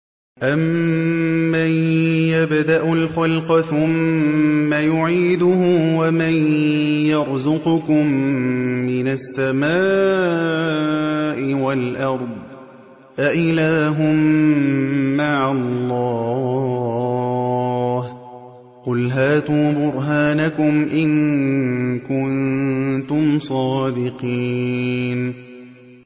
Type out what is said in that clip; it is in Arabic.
أَمَّن يَبْدَأُ الْخَلْقَ ثُمَّ يُعِيدُهُ وَمَن يَرْزُقُكُم مِّنَ السَّمَاءِ وَالْأَرْضِ ۗ أَإِلَٰهٌ مَّعَ اللَّهِ ۚ قُلْ هَاتُوا بُرْهَانَكُمْ إِن كُنتُمْ صَادِقِينَ